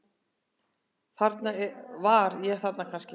Var ég þarna kannski?